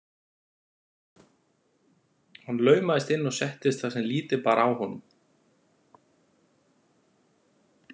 Hann laumaðist inn og settist þar sem lítið bar á honum.